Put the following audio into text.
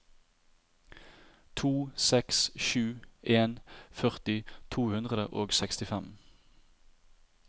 to seks sju en førti to hundre og sekstifem